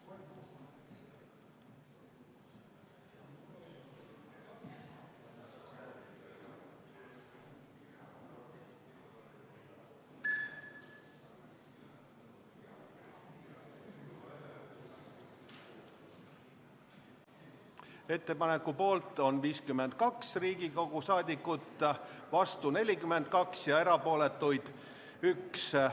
Hääletustulemused Ettepaneku poolt on 52 Riigikogu liiget, vastu on 42 ja erapooletuid on 1.